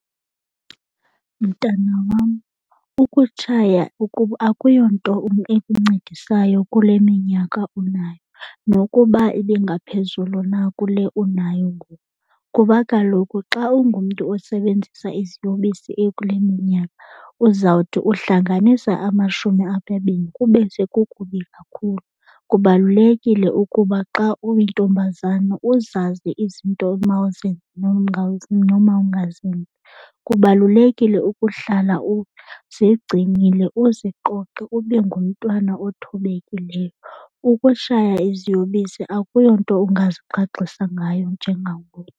Mntana wam, ukutshaya akuyo nto ekuncedisayo kule minyaka unayo nokuba ibingaphezulu na kule unayo ngoku, kuba kaloku xa ungumntu osebenzisa iziyobisi ekule minyaka uzawuthi uhlanganisa amashumi amabini kube sekukubi kakhulu. Kubalulekile ukuba xa uyintombazana uzazi izinto omawuzenze nomawungazenzi. Kubalulekile ukuhlala uzigcinile uziqoqe ube ngumntwana othobekileyo. Ukushaya iziyobisi akuyonto ungazigqagxisa ngayo njengangoku.